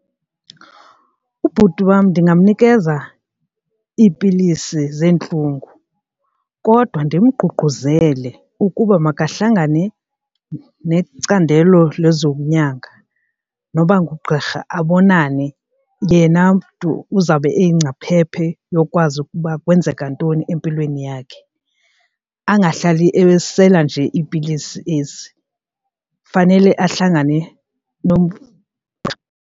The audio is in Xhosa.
Ubhuti wam ndingamnikeza iipilisi zeentlungu kodwa ndimgqugquzele ukuba makahlangane necandelo lezonyanga noba ngugqirha abonane yena mntu uzawube eyingcaphephe yokwazi ukuba kwenzeka ntoni empilweni yakhe, angahlali esela nje iipilisi ezi fanele ahlangane .